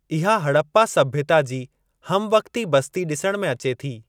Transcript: इहा हड़प्पा सभ्यता जी हमवक़्ती बस्ती ॾिसण में अचे थी।